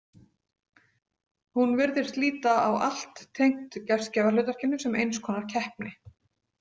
Hún virðist líta á allt tengt gestgjafahlutverkinu sem eins konar keppni.